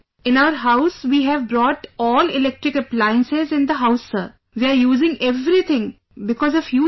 In our house we have brought all electric appliances in the house sir, we are using everything because of you sir